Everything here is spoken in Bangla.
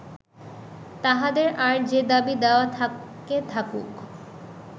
তাঁহাদের আর যে দাবি দাওয়া থাকে থাকুক